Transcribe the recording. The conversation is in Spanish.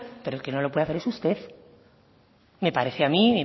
pero el que no lo puede hacer es usted me parece a mí